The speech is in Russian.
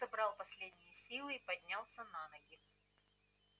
он собрал последние силы и поднялся на ноги